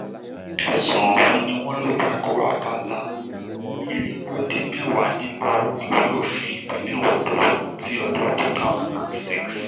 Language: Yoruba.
ẹ̀sùn ọ̀hún ni wọ́n lọ ta ko abala irinwó dín mẹ́wàá nínú ìwé òfin ìpínlẹ̀ ondo ti ọdún two thousand and six